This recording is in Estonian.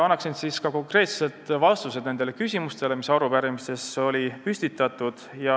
Annan siis ka konkreetsed vastused nendele küsimustele, mis olid arupärimises püstitatud.